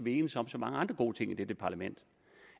enedes om så mange andre gode ting i dette parlament